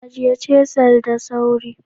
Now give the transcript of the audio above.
Ajiye "chisel" da sauri.